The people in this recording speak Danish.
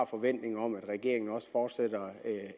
forventning om at regeringen også fortsætter